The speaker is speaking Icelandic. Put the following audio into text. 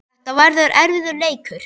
Þetta verður erfiður leikur.